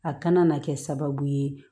A kana na kɛ sababu ye